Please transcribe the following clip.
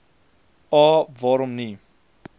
a waarom nie